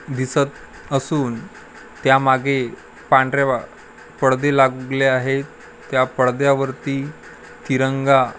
दिसत असून त्यामागे पांढरे पडदे लागले आहेत त्या पडद्यावरती तिरंगा--